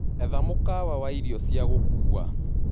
Etha mũkawa waĩrĩo cĩa gũkũwa